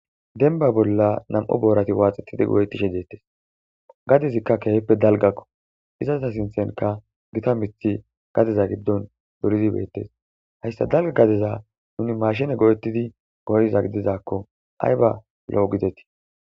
denba bolla nam7o boorati waaxetidi go7eti shejeettes gadezikka keehippe dalgakko iza eta sintenka gita mithi gadeza giddon dorizi bettes hayssa dalga gadeza nuni maashine go7ettidi goyza gidizakko ay ba lo7o gidetii